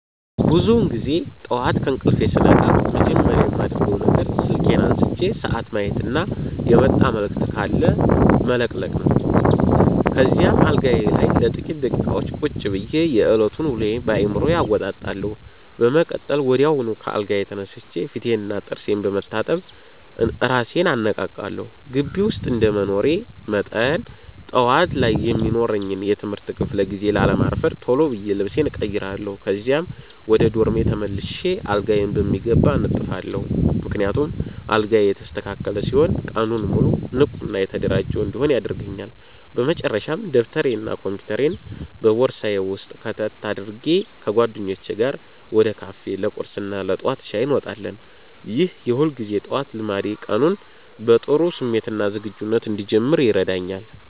ብዙውን ጊዜ ጠዋት ከእንቅልፌ ስነቃ መጀመሪያ የማደርገው ነገር ስልኬን አንስቼ ሰዓት ማየትና የመጣ መልዕክት ካለ መለቅለቅ ነው። ከዚያም አልጋዬ ላይ ለጥቂት ደቂቃዎች ቁጭ ብዬ የዕለቱን ውሎ በአዕምሮዬ አወጣጣለሁ። በመቀጠል ወዲያውኑ ከአልጋዬ ተነስቼ ፊቴንና ጥርሴን በመታጠብ እራሴን አነቃቃለሁ። ግቢ ውስጥ እንደመኖሬ መጠን፣ ጠዋት ላይ የሚኖረኝን የትምህርት ክፍለ ጊዜ ላለማርፈድ ቶሎ ብዬ ልብሴን እቀይራለሁ። ከዚያም ወደ ዶርሜ ተመልሼ አልጋዬን በሚገባ አነጥፋለሁ፤ ምክንያቱም አልጋዬ የተስተካከለ ሲሆን ቀኑን ሙሉ ንቁና የተደራጀሁ እንድሆን ያደርገኛል። በመጨረሻም ደብተሬንና ኮምፒውተሬን በቦርሳዬ ውስጥ ከተት አድርጌ፣ ከጓደኞቼ ጋር ወደ ካፌ ለቁርስና ለጠዋት ሻይ እንወጣለን። ይህ የሁልጊዜ ጠዋት ልማዴ ቀኑን በጥሩ ስሜትና ዝግጁነት እንድጀምር ይረዳኛል።